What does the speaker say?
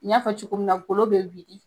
N y'a fɔ cogo min na golo be wili